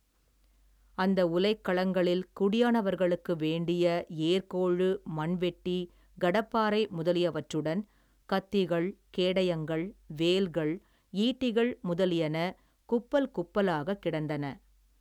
அந்த உலைக்களங்களில் குடியானவர்களுக்கு வேண்டிய ஏர்க்கோழு மண்வெட்டி கடப்பாரை முதலியவற்றுடன் கத்திகள் கேடயங்கள் வேல்கள் ஈட்டிகள் முதலியன குப்பல் குப்பலாகக் கிடந்தன.